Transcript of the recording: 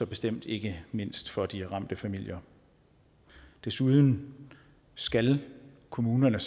bestemt ikke mindst for de ramte familier desuden skal kommunerne